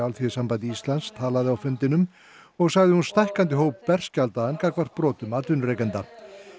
Alþýðusambandi Íslands talaði á fundinum og sagði stækkandi hóp berskjaldaðan gagnvart brotum atvinnurekenda